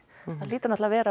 það hlýtur að vera